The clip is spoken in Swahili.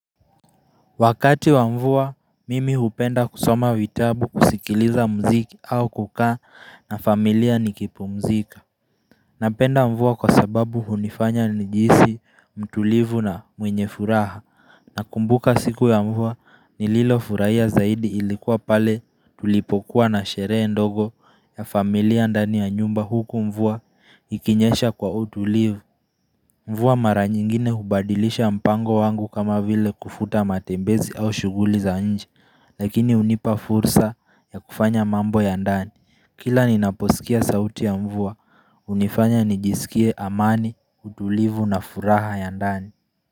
Wakati wa mvua, mimi hupenda kusoma vitabu kusikiliza mziki au kukaa na familia nikipumzika. Napenda mvua kwa sababu hunifanya nijihisi, mtulivu na mwenye furaha. Nakumbuka siku ya mvua nililofuraia zaidi ilikuwa pale tulipokuwa na sheree ndogo ya familia ndani ya nyumba huku mvua ikinyesha kwa utulivu. Mvua mara nyingine hubadilisha mpango wangu kama vile kufuta matembezi au shughuli za nje lakini hunipa fursa ya kufanya mambo ya ndani kila ninaposikia sauti ya mvua hunifanya nijisikie amani utulivu na furaha ya ndani.